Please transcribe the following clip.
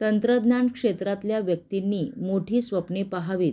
तंत्रज्ञान क्षेत्रातल्या व्यक्तींनी मोठी स्वप्ने पाहावीत